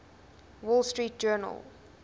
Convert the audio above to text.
wall street journal